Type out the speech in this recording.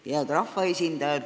Head rahvaesindajad!